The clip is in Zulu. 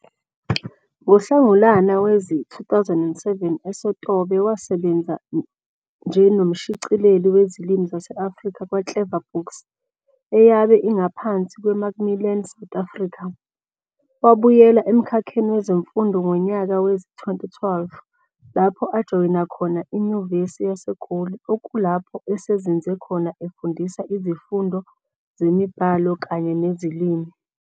NgoHlangulana wezi-2007 eSotobe wasebenza njenomshicileli wezilimi zase-Afrika kwaClever Books, eyabe ingaphansi kwakaMacmillan South Afrika. Wabuyela emkhakheni wezemfundo ngonyaka wezi-2012 lapho ajoyina khona iNyuvesi yaseGoli okulapho esezinze khona efundisa izifundo zemiBhalo kanye neziLimi.